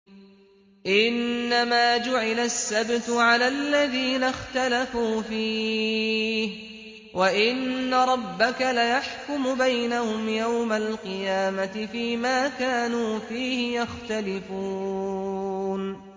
إِنَّمَا جُعِلَ السَّبْتُ عَلَى الَّذِينَ اخْتَلَفُوا فِيهِ ۚ وَإِنَّ رَبَّكَ لَيَحْكُمُ بَيْنَهُمْ يَوْمَ الْقِيَامَةِ فِيمَا كَانُوا فِيهِ يَخْتَلِفُونَ